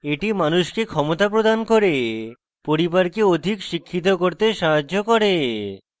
এটি মানুষকে ক্ষমতা প্রদান করে পরিবারকে অধিক শিক্ষিত করতে সাহায্য করে